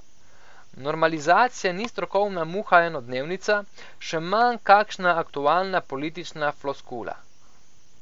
Normalizacija ni strokovna muha enodnevnica, še manj kakšna aktualna politična floskula.